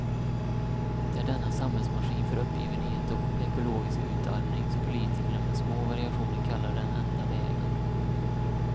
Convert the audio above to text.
Det är denna samhällsmaskin för uppgivenhet och ekologisk utarmning som politikerna med små variationer kallar den enda vägen.